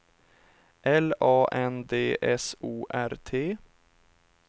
L A N D S O R T